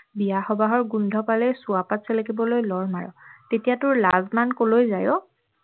বিয়া সবাহৰ গোন্ধ পালেই চুৱাপাত চেলেকিবলৈ লৰ মাৰ তেতিয়া তোৰ লাজ মান কলৈ যায় ঔ